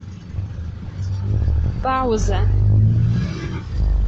пауза